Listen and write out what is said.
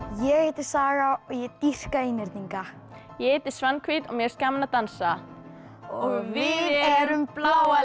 ég heiti Saga og ég dýrka einhyrninga ég heiti Svanhvít og mér finnst gaman að dansa við erum bláa